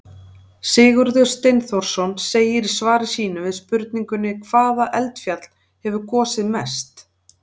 Sigurður Steinþórsson segir í svari sínu við spurningunni Hvaða eldfjall hefur gosið mest?